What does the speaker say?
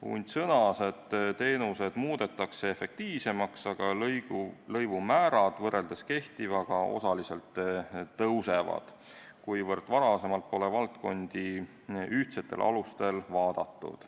Hundt sõnas, et teenused muudetakse efektiivsemaks, aga lõivumäärad võrreldes kehtivaga osaliselt tõusevad, kuivõrd varem pole valdkondi ühtsetel alustel vaadatud.